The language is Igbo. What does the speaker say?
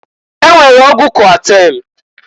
E nwere ọgwụ Koatem.